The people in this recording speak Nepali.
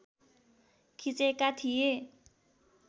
खिचेका थिए